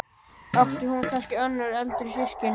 Átti hún kannski önnur eldri systkini?